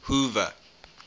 hoover